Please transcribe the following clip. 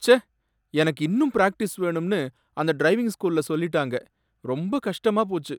ச்சே! எனக்கு இன்னும் பிராக்டிஸ் வேணும்னு அந்த டிரைவிங் ஸ்கூல்ல சொல்லிட்டாங்க, ரொம்ப கஷ்டமா போச்சு